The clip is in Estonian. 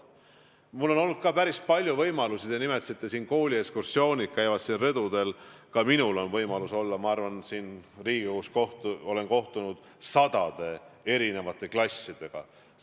Mul on olnud ka päris palju võimalusi – te nimetasite, et kooliekskursioonid satuvad siin majas ka rõdule – kohtuda Riigikogus sadade klassidega.